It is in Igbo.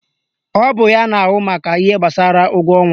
Ọ bụ ya na ahụ maka ihe gbasara ụgwọ ọnwa